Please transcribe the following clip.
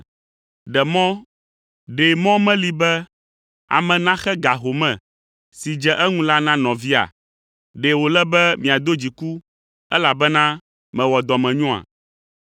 Ɖe mɔ meli be be ame naxe ga home si dze eŋu la na nɔvia? Ɖe wòle be miado dziku, elabena mewɔ dɔmenyoa?’